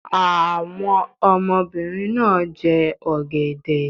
Àwọn ọmọbìnrin náà jẹ ọ̀gẹ̀dẹ̀